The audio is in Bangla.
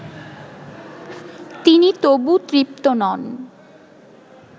তিনি তবু তৃপ্ত নন